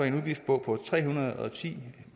en udgift på på tre hundrede og ti